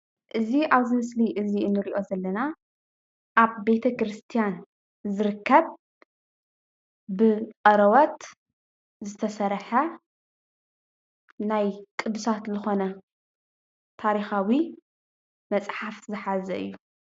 እዚ አብ ምስሊ እንሪኦ ዘለና አብ ቤተ ክርስትያን ዝርከብ ብቆርበት ዝተሰርሐ ናይ ቅዱሳት ዝኮነ ታሪካዊ መፅሓፍ ዝሓዘ እዩ፡፡